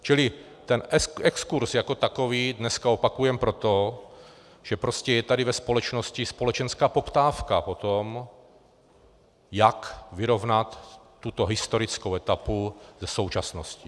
Čili ten exkurz jako takový dneska opakujeme proto, že prostě je tady ve společnosti společenská poptávka po tom, jak vyrovnat tuto historickou etapu se současností.